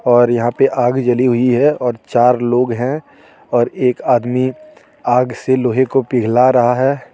और यहां पे आग जली हुई है और चार लोग हैं और एक आदमी आग से लोहे को पिघला रहा है.